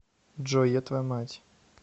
джой я твоя мать